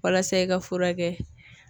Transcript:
Walasa i ka furakɛ.